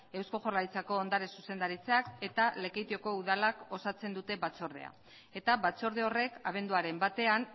eusko jaurlaritzako ondare zuzendaritzak eta lekeitiokok udalak osatzen dute batzordea eta batzorde horrek abenduaren batean